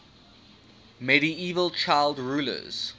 medieval child rulers